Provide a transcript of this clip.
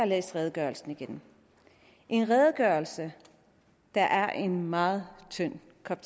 læst redegørelsen igennem en redegørelse der er en meget tynd kop